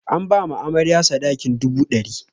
An ba amarya sadakin dubu ɗari.